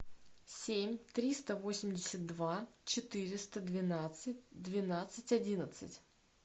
семь триста восемьдесят два четыреста двенадцать двенадцать одиннадцать